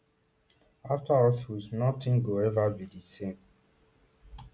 after auschwitz notin go ever be di same